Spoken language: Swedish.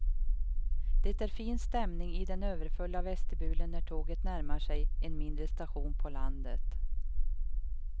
Det är fin stämning i den överfulla vestibulen när tåget närmar sig en mindre station på landet.